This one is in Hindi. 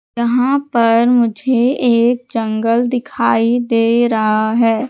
यहां पर मुझे एक जंगल दिखाई दे रहा है।